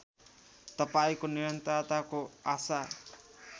तपाईँको निरन्तरताको आशा